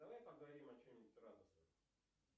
давай поговорим о чем нибудь радостном